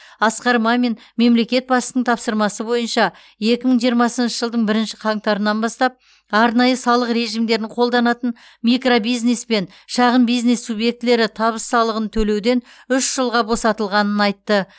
асқар мамин мемлекет басшысының тапсырмасы бойынша екі мың жиырмасыншы жылдың бірінші қаңтарынан бастап арнайы салық режимдерін қолданатын микробизнес пен шағын бизнес субъектілері табыс салығын төлеуден үш жылға босатылғанын айтты